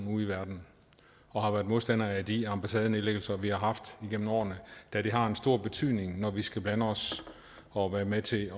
ude i verden og har været modstander af de ambassadenedlæggelser vi har haft igennem årene da det har en stor betydning når vi skal blande os og være med til